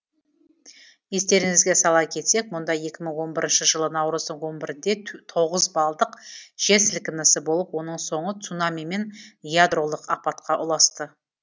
естеріңізге сала кетсек мұнда екі мың он бірінші жылы наурыздың он бірде тоғыз балдық жер сілкінісі болып оның соңы цунами мен ядролық апатқа ұласты